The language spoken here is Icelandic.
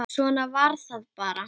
Svona var það bara.